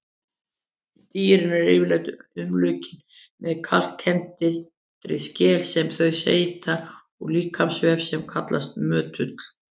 Dýrin eru yfirleitt umlukin með kalkkenndri skel sem þau seyta úr líkamsvef sem kallast möttull.